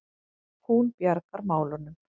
Hún bjargar málunum.